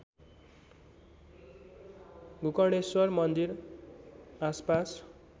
गोकर्णेश्वर मन्दिर आसपास